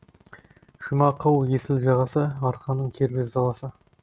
жұмақ ау есіл жағасы арқаның кербез даласы